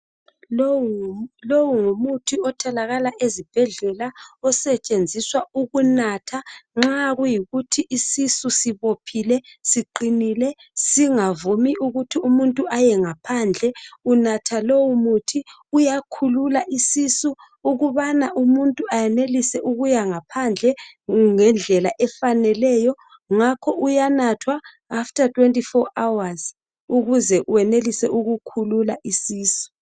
Lowu ngumuthi otholakala ezibhedlela osetshenziswa ukunatha nxa kuyikuthi isisu sibophile siqinile singavumi ukuthi umuntu aye ngaphandle. Unatha lowomuthi uyakhulula isisu ukubana umuntu ayenelise ukuya ngaphandle ngendlela efaneleyo ngakho uyanatha after 24 hours ukuze uwenelise ukukhulula isisu.